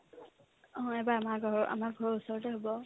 অ, এইবাৰ আমাৰ ঘৰৰ আমাৰ ঘৰৰ ওচৰতে হ'ব